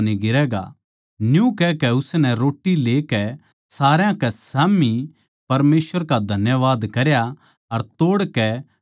न्यू कहकै उसनै रोट्टी लेकै सारया कै स्याम्ही परमेसवर का धन्यवाद करया अर तोड़कै खाण लाग्या